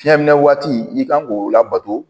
Fiɲɛminɛ waati i kan k'o labato